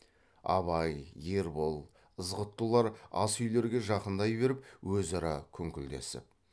абай ербол ызғұттылар ас үйлерге жақындай беріп өзара күңкілдесіп